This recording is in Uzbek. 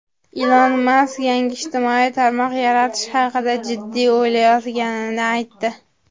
Ilon Mask yangi ijtimoiy tarmoq yaratish haqida jiddiy o‘ylayotganini aytdi.